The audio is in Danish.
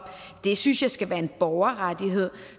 det synes jeg skal være en borgerrettigheder